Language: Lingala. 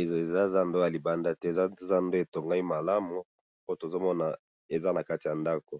eza zandu batongi yango na libanda te po tomoni eza zandu batongi yango nakati ya ndaku.